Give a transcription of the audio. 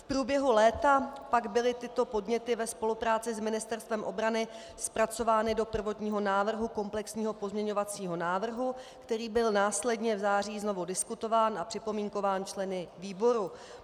V průběhu léta pak byly tyto podněty ve spolupráci s Ministerstvem obrany zpracovány do prvotního návrhu komplexního pozměňovacího návrhu, který byl následně v září znovu diskutován a připomínkován členy výboru.